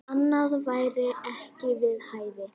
Annað væri ekki við hæfi.